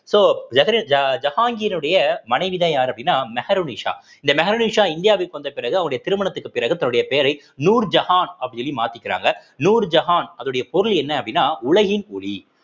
so ஜஹரீர்~ ஜஹாங்கிரினுடைய மனைவிதான் யாரு அப்படின்னா மெஹருநிஷா இந்த மெஹருநிஷா இந்தியாவிற்கு வந்த பிறகு அவருடைய திருமணத்திற்கு பிறகு தன்னுடைய பெயரை நூர்ஜஹான் அப்படின்னு சொல்லி மாத்திக்கிறாங்க நூர்ஜஹான் அதனுடைய பொருள் என்ன அப்படின்னா உலகின் ஒளி